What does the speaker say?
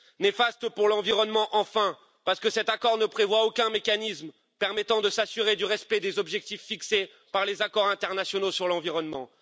Néfaste pour l'environnement, enfin, parce que cet accord ne prévoit aucun mécanisme permettant de s'assurer du respect des objectifs fixés par les accords internationaux sur l'environnement.